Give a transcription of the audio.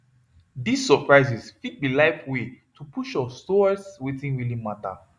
dis surprises fit be life way to push us towards wetin really matter